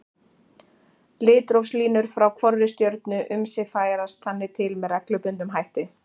Litrófslínur frá hvorri stjörnu um sig færast þannig til með reglubundnum hætti.